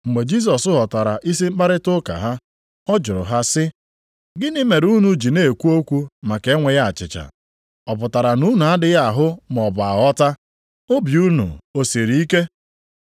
Mgbe Jisọs ghọtara isi mkparịta ụka ha, ọ jụrụ ha sị, “Gịnị mere unu ji na-ekwu okwu maka enweghị achịcha? Ọ pụtara na unu adịghị ahụ maọbụ aghọta? Obi unu o siri ike?